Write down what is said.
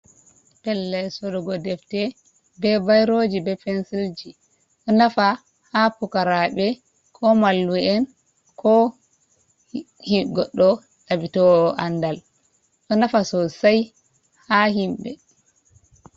Pellel sorugo defte be bairoji be pensilji. Ɗo nafa ha pukaraɓe ko mallu’en ko goddo ɗabbitowo andal. Ɗo nafa sosai ha himɓe.